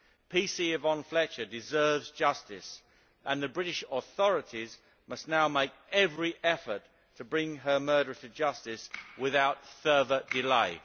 PC Yvonne Fletcher deserves justice and the British authorities must now make every effort to bring her murderer to justice without further delay.